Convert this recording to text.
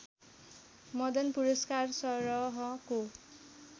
Madan Puraskar सरहको